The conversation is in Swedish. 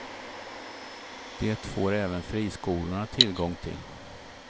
Det får även friskolorna tillgång till.